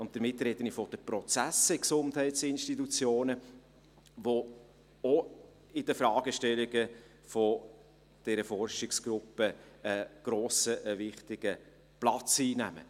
Dabei spreche ich von den Prozessen in Gesundheitsinstitutionen, welche auch in den Fragestellungen dieser Forschungsgruppe einen grossen, einen wichtigen Platz einnehmen.